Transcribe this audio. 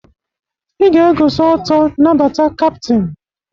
Ị ga-egoso ọtọ nabata kaptin!